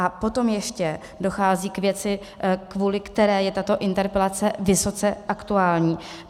A potom ještě dochází k věci, kvůli které je tato interpelace vysoce aktuální.